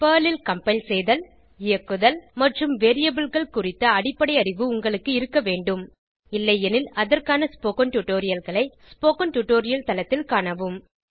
Perl ல் compile செய்தல் இயக்குதல் மற்றும் Variableகள் குறித்த அடிப்படை அறிவு உங்களுக்கு இருக்க வேண்டும் இல்லையெனில் அதற்கான ஸ்போகன் டுடோரியல்களை ஸ்போகன் டுடோரியல் தளத்தில் காணவும்